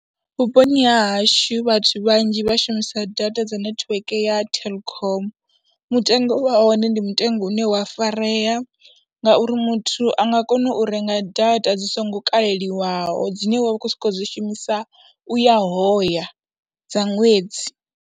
Vhuponi ha hashu vhathu vhanzhi vha shumisa data dza netiweke ya Telkom, mutengo wa hone ndi mutengo une wa farea ngauri muthu a nga kona u renga data dzi songo kaleliwaho dzine wa vha u khou sokou dzi shumisa u ya hoya dza ṅwedzi.